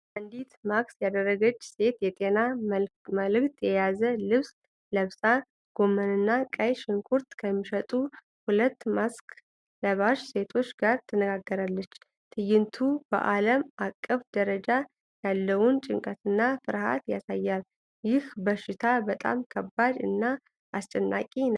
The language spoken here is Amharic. አንዲት ማስክ ያደረገች ሴት የጤና መልዕክት የያዘ ልብስ ለብሳ፤ ጎመንና ቀይ ሽንኩርት ከሚሸጡ ሁለት ማስክ ለባሽ ሴቶች ጋር ትነጋገራለች። ትዕይንቱ በዓለም አቀፍ ደረጃ ያለውን ጭንቀትና ፍርሃት ያሳያል። ይህ በሽታ በጣም ከባድ እና አስጨናቂ ነበር።